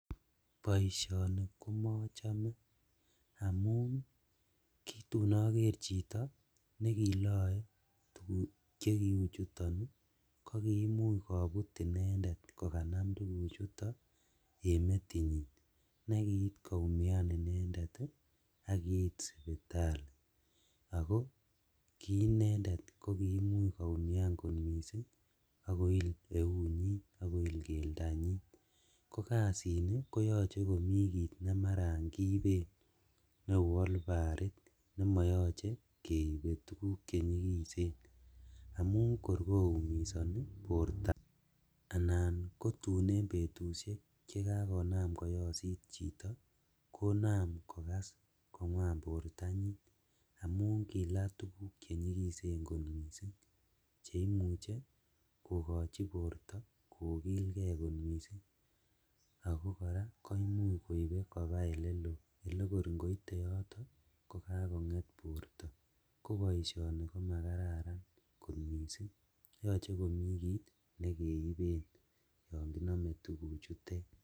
Boisioni komochome amun kitun oker chito nekiloe tuguk chekiu chuton ii ko kiimuch kobut inendet kokanam tuguchuto en metinyin, nekiit koumian inendet ak kiit sipitali ako kiinendet kokiimuch koumian kot missing' ak koil euinyin ak koik keldanyin, kokasini koyoche komi kiit nekeiben neu olbarit nemoyoche keibe tuguk chenyigisen amun kot koumisoni borto, anan en betusiek chetun kainam koyosit chito konam kokas kongwan amun kila tuguk chenyikisen kot missing' cheimuche kokochi borto kokilgee kot missing', ako koraa koimuch koibe kobaa elelo elekor ingoite yoto kokagonget borto, koboisioni ko makararan kot missing' yoche komi kit nekeiben yonginome tukuchutet.